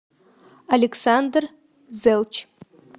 александр зелч